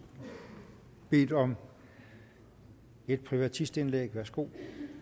bedt om et privatistindlæg værsgo